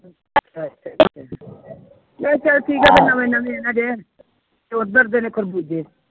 ਅੱਛਾ ਠੀਕ ਹਜੇ ਨਵੇਂ ਨਵੇਂ ਤੇ ਉੱਧਰ ਦੇ ਨੇ ਖਰਬੂਜੇ।